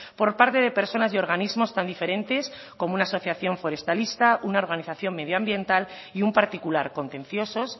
por parte de personas y organismos tan diferentes como una asociación forestalista una organización medioambiental y un particular contenciosos